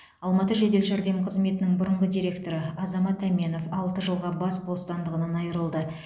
алматы жедел жәрдем қызметінің бұрынғы директоры азамат әменов алты жылға бас бостандығынан айырылды